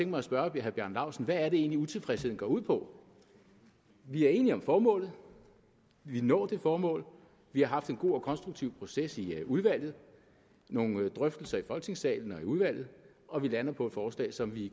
mig at spørge herre bjarne laustsen hvad er det egentlig utilfredsheden går ud på vi er enige om formålet vi vil nå det formål vi har haft en god og konstruktiv proces i udvalget nogle drøftelser i folketingssalen og i udvalget og vi lander på et forslag som vi